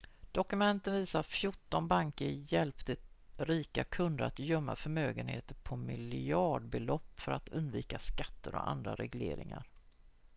dokumenten visar att fjorton banker hjälpte rika kunder att gömma förmögenehter på miljardbelopp för att undvika skatter och andra regleringar